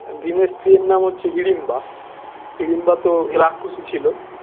ভীমের স্ত্রীর নাম হচ্ছে হিড়িম্বা হিড়িম্বা তো রাক্ষসী ছিল